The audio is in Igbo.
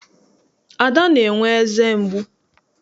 Ada na-enwe eze mgbu.